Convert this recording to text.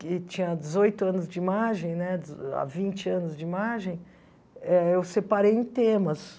que tinha dezoito anos de imagem né, de há vinte anos de imagem, eh eu separei em temas.